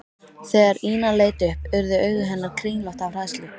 Þegar Ína leit upp urðu augu hennar kringlótt af hræðslu.